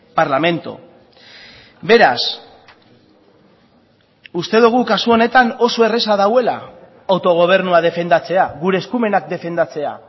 parlamento beraz uste dugu kasu honetan oso erraza dagoela autogobernua defendatzea gure eskumenak defendatzea